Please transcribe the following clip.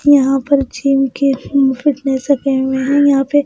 यहाँ पर जिम के फिटनेस सेकंड में यहाँ पे--